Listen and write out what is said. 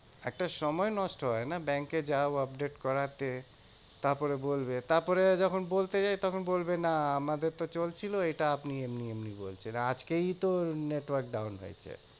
একটা সময় নষ্ট হয় না? ব্যাঙ্কে যাও update করাতে। তারপরে বলবে তারপরে যখন বলতে যাই তখন বলবে না আমাদের তো চলছিল এটা আপনি এমনি এমনি বলছেন। আজকেই তো network down হয়েছে।